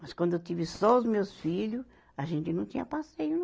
Mas quando eu tive só os meus filho, a gente não tinha passeio, não.